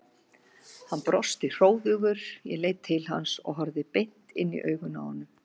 Hann brosti hróðugur, ég leit til hans og horfði beint inn í augun á honum.